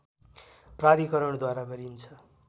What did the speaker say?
प्राधिकरणद्वारा गरिन्छ